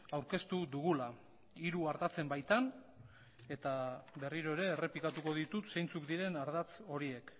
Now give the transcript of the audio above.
aurkeztu dugula hiru ardatzen baitan eta berriro ere errepikatuko ditut zeintzuk diren ardatz horiek